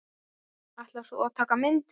Ætlar þú að taka myndir?